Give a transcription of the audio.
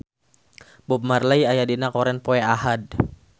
Bob Marley aya dina koran poe Ahad